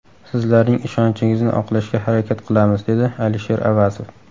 Sizlarning ishonchingizni oqlashga harakat qilamiz”, dedi Alisher Avazov.